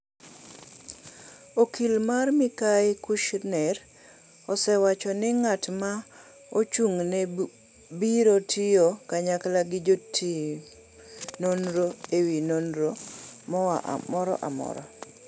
Okil mar mikai Kushner osewacho ni ng’at ma ochung’ne biro tiyo kanyakla gi jotim nonro e wi nonro moro amora.